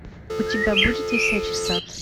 у тебя будет висячий сад